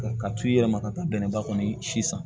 Ka t'u yɛrɛ ma ka taa bɛnnɛba kɔni si san